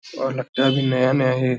और लगता भी नया-नया भी --